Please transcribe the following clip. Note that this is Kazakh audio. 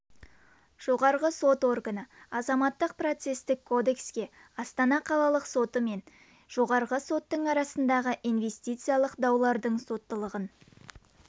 жоғары сот органы азаматтық процестік кодекске астана қалалық соты мен жоғарғы соттың арасындағы инвестициялық даулардың соттылығын